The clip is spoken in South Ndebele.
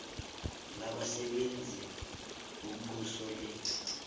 labasebenzi bombuso le